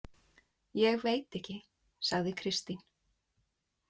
Ég veit ekki, sagði Kristín.